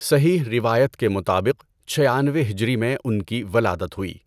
صحیح روایت کے مطابق چھیانوے ہجری میں ان کی ولادت ہوئی۔